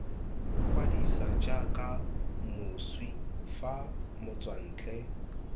kwadisa jaaka moswi fa motswantle